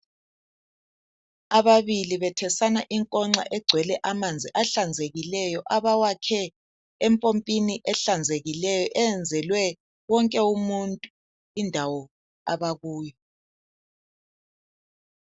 Ababili bethesana inkongxa egcwele amanzi ahlanzekileyo, abawakhe empompini ehlanzekileyo eyenzelwe wonke umuntu indawo abakuyo.